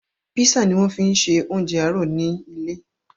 Písà ni wọ́n fi ṣe oúnjẹ àárọ̀ ni ilé